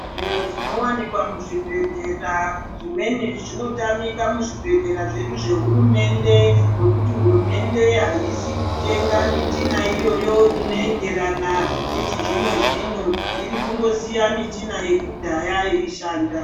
Zvimweni zvinowanikwa muzvibhedhlera zvimweni zvinotamika muzvibhedhlera zvedu zvehurumende nekuti hurumende haisi kutenga michina iyoyo inoenderana nechizvino-zvino irikungosiya michina yekudhaya yechishanda.